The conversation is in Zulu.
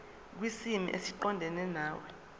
kwisimo esiqondena nawe